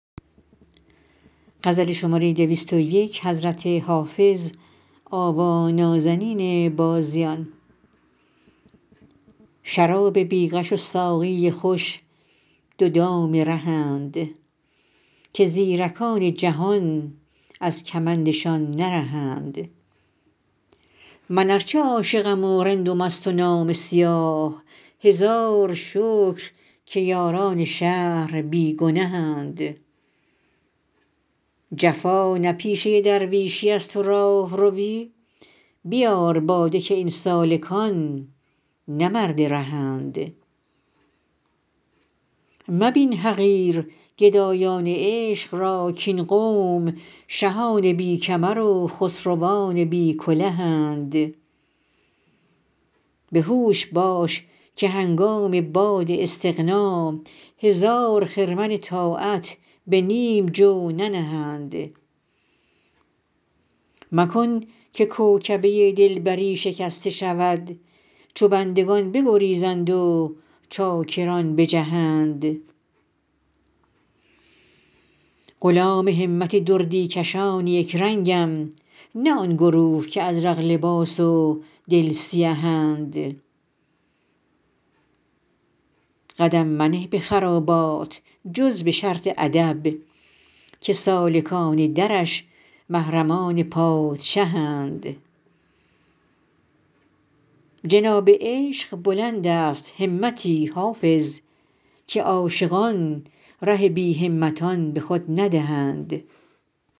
شراب بی غش و ساقی خوش دو دام رهند که زیرکان جهان از کمندشان نرهند من ار چه عاشقم و رند و مست و نامه سیاه هزار شکر که یاران شهر بی گنهند جفا نه پیشه درویشیست و راهروی بیار باده که این سالکان نه مرد رهند مبین حقیر گدایان عشق را کاین قوم شهان بی کمر و خسروان بی کلهند به هوش باش که هنگام باد استغنا هزار خرمن طاعت به نیم جو ننهند مکن که کوکبه دلبری شکسته شود چو بندگان بگریزند و چاکران بجهند غلام همت دردی کشان یک رنگم نه آن گروه که ازرق لباس و دل سیهند قدم منه به خرابات جز به شرط ادب که سالکان درش محرمان پادشهند جناب عشق بلند است همتی حافظ که عاشقان ره بی همتان به خود ندهند